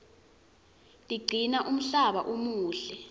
tigcina umhlaba umuhle